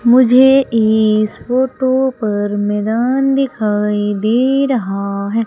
मुझे इस फोटो पर मैदान दिखाई दे रहा है।